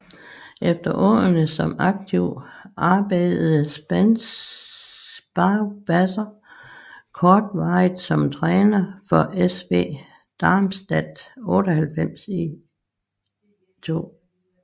Efter årene som aktiv arbejdede Sparwasser kortvarigt som træner for SV Darmstadt 98 i 2